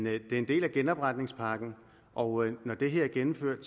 er en del af genopretningspakken og når det her er gennemført